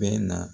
Bɛɛ na